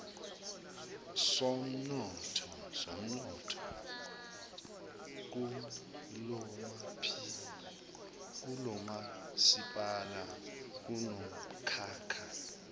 somnotho kulomasipala kunomkhakha